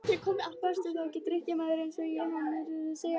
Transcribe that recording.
Varstu þá ekki drykkjumaður eins og hann er að segja?